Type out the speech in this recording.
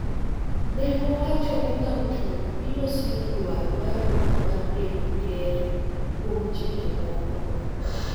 Ne owacho ni Nam Chumbi biro siro dwaro mar Ruto mar bedo Ker kuom chike moko